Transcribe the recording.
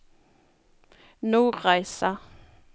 Nordreisa